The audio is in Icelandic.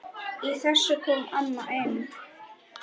Í þessu kom amma inn.